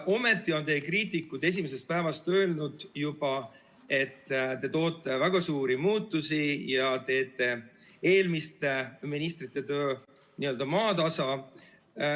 Ometi on teie kriitikud juba esimesest päevast peale öelnud, et te toote väga suuri muutusi ja teete eelmiste ministrite töö n-ö maatasa.